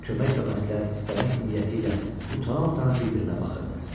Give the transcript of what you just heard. Kömək və məsləhət istəmək niyyətilə utana-utana bir-birinə baxırdı.